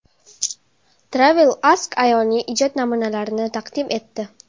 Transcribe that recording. TravelAsk ayolning ijod namunalarini taqdim etdi .